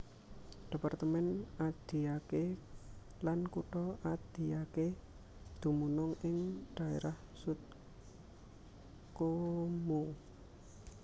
Departemen Adiaké lan Kutha Adiaké dumunung ing dhaérah Sud Comoé